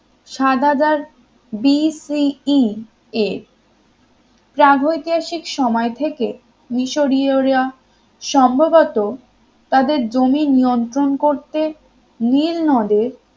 ষাটহাজার BCE এ প্রাগৈতিহাসিক সময় থেকে মিশরীয়রা সম্ভবত তাদের জমি নিয়ন্ত্রণ করতে নীলনদে